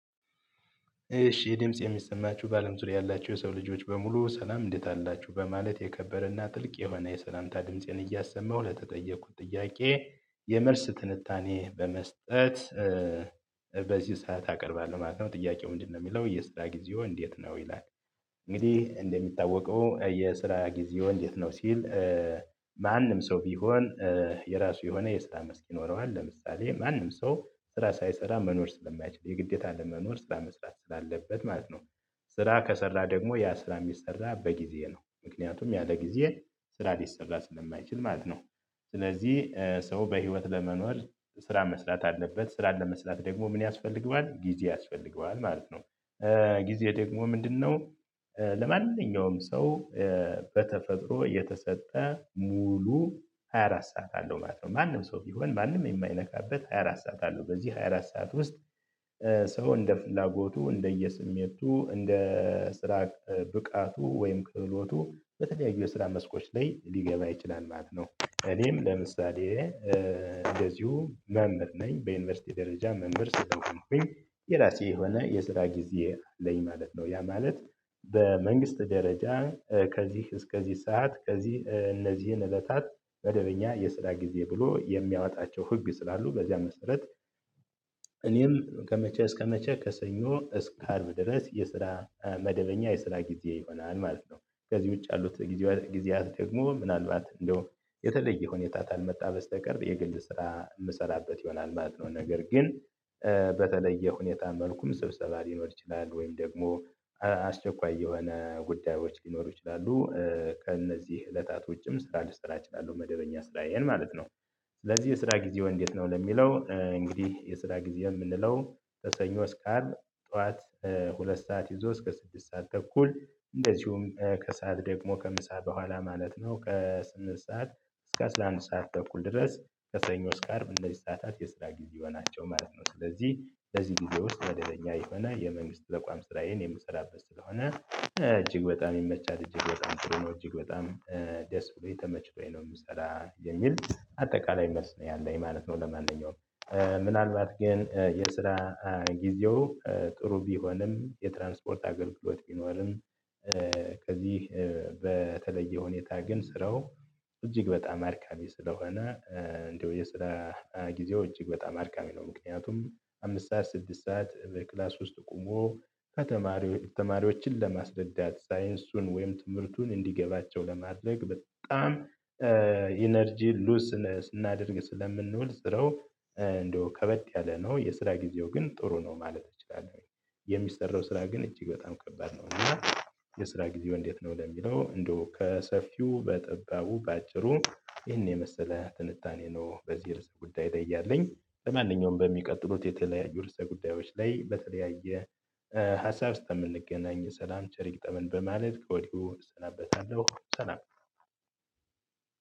እሺ ድምጽ የሚሰማችሁ በአለም ዙሪያ ያላችሁ የሰው ልጆች በሙሉ ሰላም እንዴት አላችሁ በማለት የከበረና ጥልቅ የሆነ የሰላምታ ድምፄን እያሰመሁ ለተጠየቁት ጥያቄ የመልስ ትንታኔ በመስጠት እ በዚህ ሰዓት አቀርባለሁ ማለት ነው ጥያቄው ምንድነው የሚለው የስራ ጊዜዎ እንዴት ነው? ይላል እንግዲህ እንደሚታወቀው የስራ ጊዜዎ እንዴት ነው ሲል እ ማንም ሰው ቢሆን የራሱ የሆነ የስራ መስኪ ይኖረዋል ለምሳሌ ማንም ሰው ስራ ሳይሰራ መኖር ስለማይችል የግዴታ ለመኖር ስራ መስራት ስላለበት ማለት ነው። ስራ ከተሰራ ደግሞ ያ ስራ የሚሰራው በጊዜ ነው ምክንያቱም ያለ ጊዜ ስራ ሊሰራ ስለማይችል ማለት ነው። ስለዚህ ሰው በህይወት ለመኖር ስራ መስራት አለበት ስራን ለመስራት ደግሞ ምን ያስፈልገዋል ጊዜ ያስፈልገዋል ማለት ነው። እ ጊዜ ደግሞ ምንድነው ለማንኛውም ሰው በተፈጥሮ የተሰጠ ሙሉ ሃያ አራት ሰዓት አለው ማለት ነው። ማንም ሰው ቢሆን ማንም የማይነካበት ሃያ አራት ሰዓት አለው በዚህ ሃያ አራት ሰዓት ውስጥ እ ሰው እንደ ፍላጎቱ እንደየስሜቱ እንደ ስራ ብቃቱ ወይም ክህሎቱ በተለያዩ የስራ መስኮች ላይ ሊገባ ይችላል ማለት ነው። እኔም ለምሳሌ እንደዚሁ መምህር ነኝ በዩኒቨርሲቲ ደረጃ መምህር ስለሆንኩኝ የራሴ የሆነ የስራ ጊዜ አለኝ ማለት ነው። ያ ማለት በመንግስት ደረጃ ከዚህ እስከዚህ ሰዓት ከዚህ እነዚህን እለታት መደበኛ የስራ ጊዜ ብሎ የሚያወጣቸው ህግ ስላሉ በዚያ መሰረት እኔም ከመቼ እስከመቼ ከሰኞ እስከ አርብ ድረስ የስራ መደበኛ የስራ ጊዜ ይሆናል ማለት ነው። ከዚህ ውጪ ያሉት ጊዜያት ጊዜያት ደግሞ ምናልባት እንዲያው የተለየ ሁኔታ ካልመጣ በስተቀር የግል ስራ የምሰራበት ይሆናል ማለት ነው። ነገር ግን በተለየ ሁኔታ መልኩም ስብሰባ ሊኖር ይችላል ወይም ደግሞ አስቸኳይ የሆነ ጉዳዮች ሊኖሩ ይችላሉ እ ከእነዚህ እለታት ውጭም ስራ ልሰራ እችላለሁ መደበኛ ስራዬን ማለት ነው። ስለዚህ የስራ ጊዜዎ እንዴት ነው? ለሚለው እንግዲህ የስራ ጊዜ የምንለው ከሰኞ እስካ አርብ ጠዋት ሁለት ሰዓት ይዞ እስከ ስድስት ሰዓት ተኩል እንደዚሁም ከሰአት ደግሞ ከምሳ በኋላ ማለት ነው ከስንምንት ሰዓት እስከ አስራ አንድ ሰዓት ተኩል ድረስ ከሰኞ እስከ አርብ እነዚህ ሰዓታት የስራ ጊዜዎች ናቸው ማለት ነው። ስለዚህ በዚህ ቪዲዮ ውስጥ መደበኛ የሆነ የመንግስት ተቋም ስራዬን የምሰራበት ስለሆነ እጅግ በጣም ይመቻል እጅግ በጣም ጥሩ ነው እጅግ በጣም ደስ ብሎኝ ተመችቶኝ ነው። የምሰራ የሚል አጠቃላይ መልስ ነው ያለኝ ማለት ነው። ለማንኛውም ምናልባት ግን የስራ ጊዜው ጥሩ ቢሆንም የትራንስፖርት አገልግሎት ቢኖርም እ ከዚህ በተለየ ሁኔታ ግን ስራው እጅግ በጣም አድካሚ ስለሆነ እንደው የስራ ጊዜው እጅግ በጣም አድካሚ ነው። ምክንያቱም አምስት ሰዓት ስድስት ሰዓት በክላስ ውስጥ ቆሞ ከተማሪዎ ተማሪዎችን ለማስረዳት ሳይንሱን ወይም ትምህርቱን እንዲገባቸው ለማድረግ በጣም የ ኢነርጂ ሉዝ ስና ስናደርግ ስለምንውል ስራው እንደው ከበድ ያለ ነው። የስራ ጊዜው ግን ጥሩ ነው ማለት እችላለሁኝ። የሚሰራው ስራ ግን እጅግ በጣም ከባድ ነው። እና የስራ ጊዜዎ እንዴት ነው ለሚለው እንደው ከሰፊው በጠባቡ በአጭሩ ይህን የመሰለ ትንታኔ ነው። በዚህ ርዕሰ ጉዳይ ላይ ያለኝ ለማንኛውም በሚቀጥሉት የተለያዩ ርዕሰ ጉዳዮች ላይ በተለያየ ሀሳብ እስካ ምንገናኝ ሰላም ቸር ይግጠመን በማለት ከወዲሁ እሰናበታለሁ። ሰላም